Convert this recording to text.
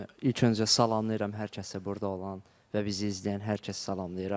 İlk öncə salamlayıram hər kəsi burda olan və bizi izləyən hər kəsi salamlayıram.